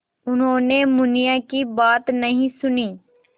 उन्होंने मुनिया की बात नहीं सुनी